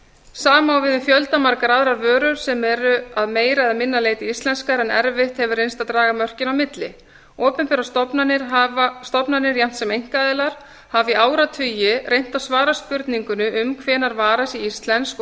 sama á við um fjöldamargar aðrar vörur sem eru að meira eða minna leyti íslenskar en erfitt hefur reynst að draga mörkin á milli opinberar stofnanir jafnt sem einkaaðilar hafa í áratugi reynt að svara spurningunni um hvenær vara sé íslensk og